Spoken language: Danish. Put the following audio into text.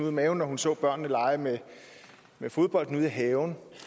i maven når hun ser børnene lege med fodbolden ude i haven